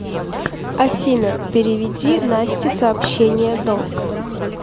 афина переведи насте сообщение долг